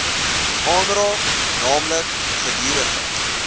aanraak naamlik gedurige